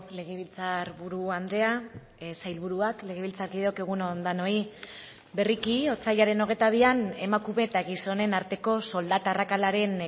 legebiltzar buru andrea sailburuak legebiltzarkideok egun on denoi berriki otsailaren hogeita bian emakume eta gizonen arteko soldata arrakalaren